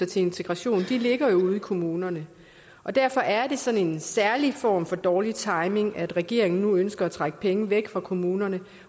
til integration ligger jo ude i kommunerne og derfor er det sådan en særlig form for dårlig timing at regeringen nu ønsker at trække penge væk fra kommunerne